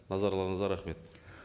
назарларыңызға рахмет